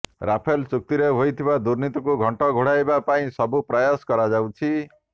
Rafale ଚୁକ୍ତିରେ ହୋଇଥିବା ଦୁର୍ନୀତିକୁ ଘଣ୍ଟ ଘୋଡ଼ାଇବା ପାଇଁ ସବୁ ପ୍ରୟାସ କରାଯାଉଛି